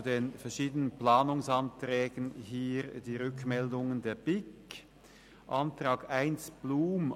Zu den verschiedenen Planungserklärungen hier die Rückmeldung der BiK: Planungserklärung 1, Blum: